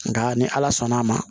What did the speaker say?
Nka ni ala sɔnn'a ma